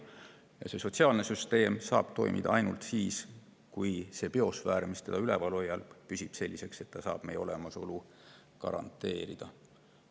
Ja sotsiaalne süsteem saab toimida ainult siis, kui see biosfäär, mis seda üleval hoiab, püsib sellisena, et see saab meie olemasolu garanteerida.